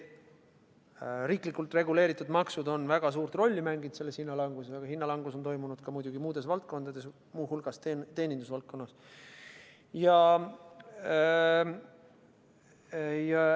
Riiklikult reguleeritud maksud on väga suurt rolli mänginud selles hinnalanguses, aga hinnalangus on toimunud ka muidugi muudes valdkondades, muu hulgas teenindusvaldkonnas.